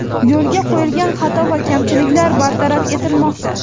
Yo‘l qo‘yilgan xato va kamchiliklar bartaraf etilmoqda.